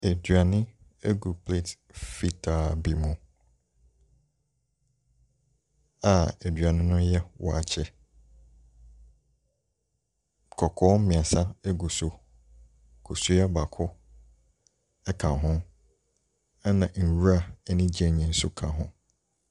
Aduane gu plate fitaa bi mu a aduane no yɛ waakye. Kɔkɔɔ mmeɛnsa gu so, kosua baako ka ho ɛnna nwura ne gyeene nso ka ho.